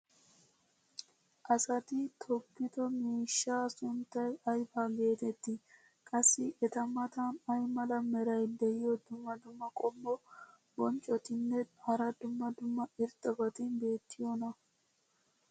Asati toggido miishshaa sunttay ayba geetettii? qassi eta matan ay mala meray diyo dumma dumma qommo bonccotinne hara dumma dumma irxxabati beetiyoonaa?